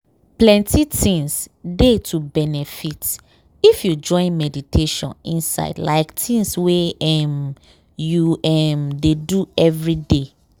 plenty things dey to benefit if you join meditation inside like tins wey um you um dey do everyday.